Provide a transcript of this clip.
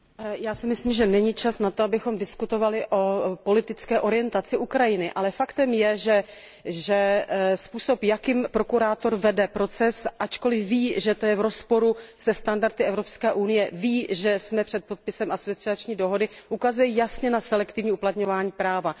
Já si myslím, že není čas na to, abychom diskutovali o politické orientaci Ukrajiny, ale faktem je, že způsob, jakým prokurátor vede proces, ačkoliv ví, že je to v rozporu se standardy Evropské unie, ví, že jsme před podpisem dohody o přidružení, ukazuje jasně na selektivní uplatňování práva.